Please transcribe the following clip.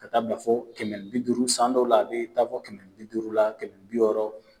Ka taa bila fɔ kɛmɛ ni bi duuru san dɔw la a taa fɔ kɛmɛ ni bi duuru la kɛmɛ ni bi wɔɔrɔ